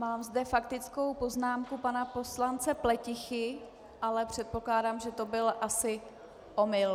Mám zde faktickou poznámku pana poslance Pletichy, ale předpokládám, že to byl asi omyl.